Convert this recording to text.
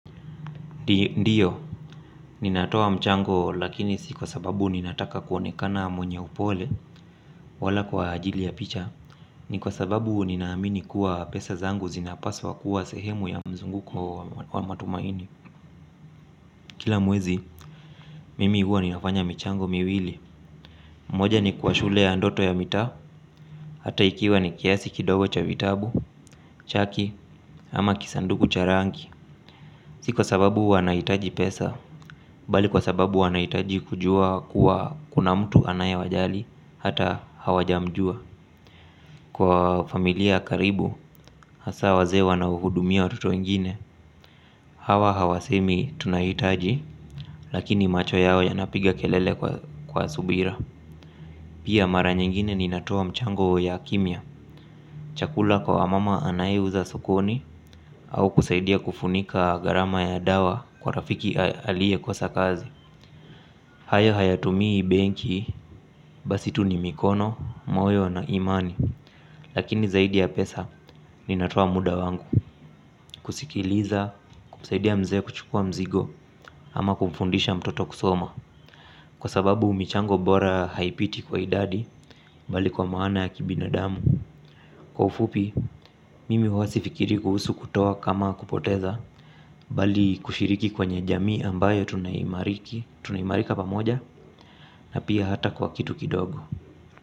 Ndiyo, ninatoa mchango lakini si kwasababu ninataka kuonekana mwenye upole wala kwa ajili ya picha. Ni kwa sababu ninaamini kuwa pesa zangu zinapaswa kuwa sehemu ya mzunguko wa matumaini. Kila mwezi, mimi huwa ninafanya michango miwili. Moja ni kwa shule ya ndoto ya mitaa. Hata ikiwa ni kiasi kidogo cha vitabu, chaki ama kisanduku cha rangi. Si sababu wanahitaji pesa, bali kwasababu wanahitaji kujua kuwa kuna mtu anayewajali, hata hawajamjua. Kwa familia karibu, hasa wazee wanaouhudumia watu wengine, hawa hawasemi tunahitaji, lakini macho yao yanapiga kelele kwa subira. Pia mara nyingine ninatoa mchango ya kimya, chakula kwa wamama anayeuza sokoni, au kusaidia kufunika gharama ya dawa kwa rafiki aliye kosa kazi. Hayo hayatumii benki, basi tu ni mikono, moyo na imani. Lakini zaidi ya pesa, ninatoa muda wangu. Kusikiliza, kumsaidia mzee kuchukua mzigo ama kumfundisha mtoto kusoma kwasababu michango bora haipiti kwa idadi. Mbali kwa maana ya kibinadamu. Kwa ufupi, mimi huwa sifikiri kuhusu kutoa kama kupoteza. Mbali kushiriki kwenye jamii ambayo tunaimariki tunaimarika pamoja, na pia hata kwa kitu kidogo.